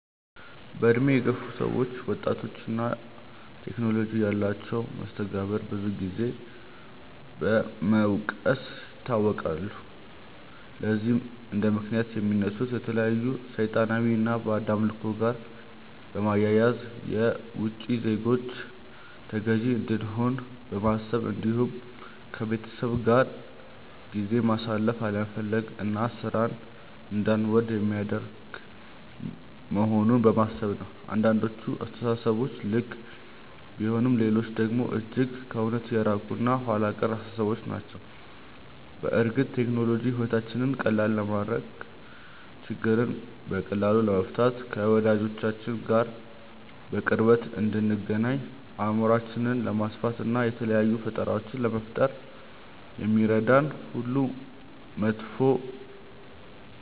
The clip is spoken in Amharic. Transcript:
በእድሜ የገፉ ሰዎች ወጣቶች እና ቴክኖሎጂ ያላቸውን መስተጋብር ብዙን ጊዜ በመውቀስ ይታወቃሉ። ለዚህም እንደምክንያት የሚያነሱት ከተለያዩ ሰይጣናዊ እና ባዕድ አምልኮ ጋር በማያያዝ፣ የውቺ ዜጎች ተገዢ እንደሆንን በማሰብ እንዲሁም ከቤተሰብ ጋር ጊዜ ማሳለፍ አለመፈለግ እና ሥራን እንዳንወድ የሚያደርግ መሆኑን በማሰብ ነው። አንዳንዶቹ አስተሳሰቦች ልክ ቢሆኑም ሌሎቹ ደግሞ እጅግ ከእውነት የራቁ እና ኋላ ቀር አስተሳሰቦች ናቸው። በእርግጥ ቴክኖሎጂ ሕይወታችንን ቀላል ለማድረግ፣ ችግሮችን በቀላሉ ለመፍታት፣ ከወዳጆቻችን ጋር በቅርበት እንድንገናኝ፣ አእምሯችንን ለማስፋት፣ እና የተለያዩ ፈጠራዎችን ለመፍጠር እንደሚረዳን ሁሉ መጥፎ